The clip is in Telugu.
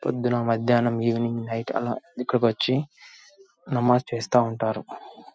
పొద్దున్న మధ్యాహ్నం ఈవెనింగ్ నైట్ ఆలా ఇక్కడకొచ్చి నమాజ్ చేస్తా ఉంటారు .